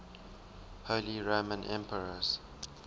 holy roman emperors